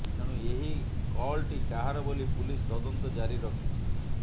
ତେଣୁ ଏହି କଲଟି କାହାର ବୋଲି ପୁଲିସ୍ ତଦନ୍ତ ଜାରି ରଖିଛି